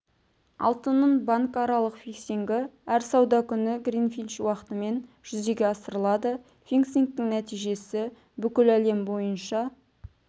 алтынның банкаралық фиксингі әр сауда күні гринвич уақытымен және жүзеге асырылады фиксингтің нәтижесі бүкіл әлем бойынша